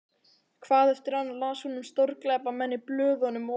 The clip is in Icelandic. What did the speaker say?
Hvað eftir annað las hún um stórglæpamenn í blöðunum og